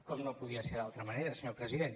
com no podia ser d’altra manera senyor president